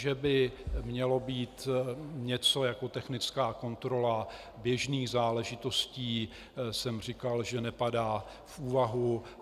Že by mělo být něco jako technická kontrola běžných záležitostí, jsem říkal, že nepadá v úvahu.